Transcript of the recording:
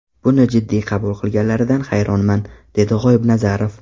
Buni jiddiy qabul qilganlaridan hayronman”, dedi G‘oibnazarov.